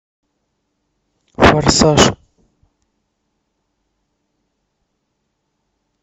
форсаж